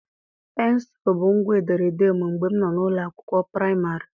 Pensụl bụ ngwa ederede m mgbe m nọ n'ụlọ akwụkwọ praịmarị.